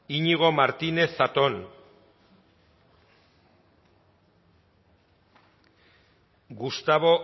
iñigo martínez zatón gustavo